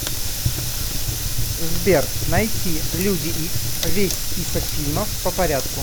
сбер найти люди икс весь список фильмов по порядку